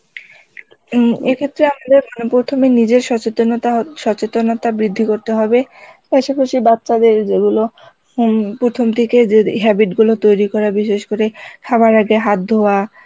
উম এক্ষেত্রে আমাদের প্রথমে নিজেদের সচেতনতা সচেতনতা বৃদ্ধি করতে হবে পাশাপাশি বাচ্চাদের যেগুলো হম প্রথম থেকে যে habit গুলো তৈরি করা বিশেষ করে খাবার আগে হাত ধোয়া